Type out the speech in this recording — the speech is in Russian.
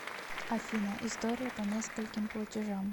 афина история по нескольким платежам